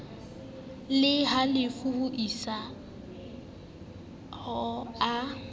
le halofo ho isaho a